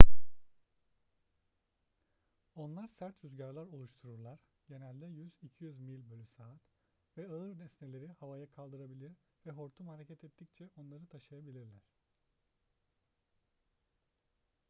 onlar sert rüzgarlar oluştururlar genelde 100-200 mil/saat ve ağır nesneleri havaya kaldırabilir ve hortum hareket ettikçe onları taşıyabilirler